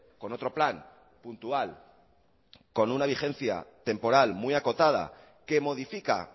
con otro plan puntual con una vigencia temporal muy acotada que modifica